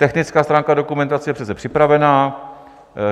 Technická stránka dokumentace je přece připravena.